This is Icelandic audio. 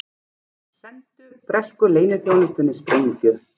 Sendu bresku leyniþjónustunni sprengju